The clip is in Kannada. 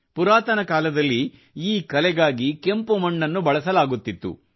ಪುರಾತನ ಕಾಲದಲ್ಲಿ ಈ ಕಲೆಗಾಗಿ ಕೆಂಪು ಮಣ್ಣನ್ನು ಬಳಸಲಾಗುತ್ತಿತ್ತು